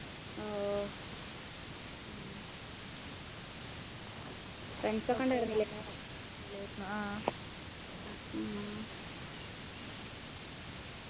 ഓ ഉം friends ഒക്കെ ഉണ്ടായിരുന്നില്ലേ ആഹ്